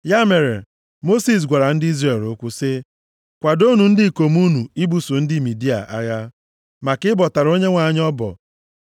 Ya mere, Mosis gwara ndị Izrel okwu sị, “Kwadoonụ ndị ikom unu ibuso ndị Midia agha, maka ịbọtara Onyenwe anyị ọbọ.